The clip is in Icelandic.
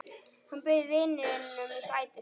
Hann bauð vininum sætið sitt.